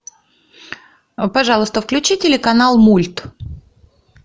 пожалуйста включи телеканал мульт